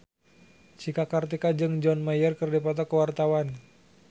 Cika Kartika jeung John Mayer keur dipoto ku wartawan